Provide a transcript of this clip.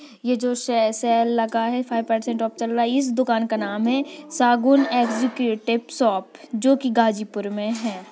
ये जो से सेल लगा है। फाइव परसेंट ऑप चल रहा है। इस दुकान का नाम है शगुन एग्जीक्यूटिव शॉप जोकि गाजीपुर में है।